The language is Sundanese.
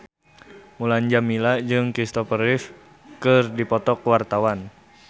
Mulan Jameela jeung Kristopher Reeve keur dipoto ku wartawan